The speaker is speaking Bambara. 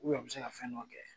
a bi se ka fɛn dɔ kɛ.